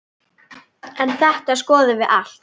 En þetta skoðum við allt.